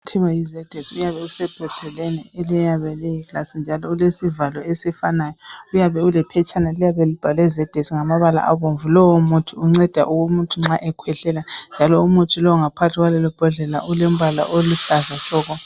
Kuthiwa yiZedex. Uyabe usebhodleleni eliyabe liyabe liyigilasi njalo ulesivalo esifanayo. Uyabe ulephetshana liyabe libhalwe Zedex ngamabala abomvu. Lowo muthi unceda umuntu nxa ekhwehlela njalo lowo muthi ongaphakathi kwebhodlela ulombala oluhlaza tshoko.